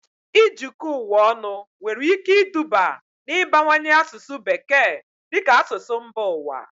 Ijikọ ụwa ọnụ nwere ike iduba n'ịbawanye asụsụ Bekee dị ka asụsụ mba ụwa